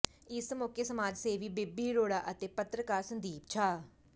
ਇਸ ਮੌਕੇ ਸਮਾਜ ਸੇਵੀ ਬੋਬੀ ਅਰੋੜਾ ਅਤੇ ਪੱਤਰਕਾਰ ਸੰਦੀਪ ਛਾ